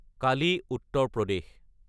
কালি - Uttar প্ৰদেশ